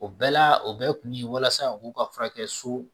O bɛɛ la o bɛɛ kun bi walasa u k'u ka furakɛ so